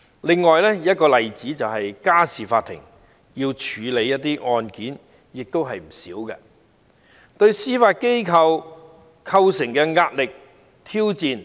另一個例子是家事法庭，須處理的案件也不少，對司法機構造成龐大的壓力和挑戰。